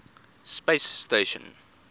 space station